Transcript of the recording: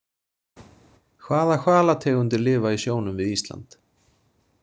Hvaða hvalategundir lifa í sjónum við Ísland?